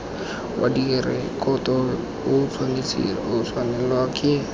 wa direkoto o tshwanelwa ke